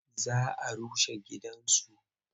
Za a rushe gidansu.